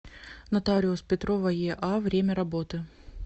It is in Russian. нотариус петрова еа время работы